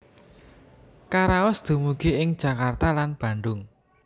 Karaos dumugi ing Jakarta lan Bandung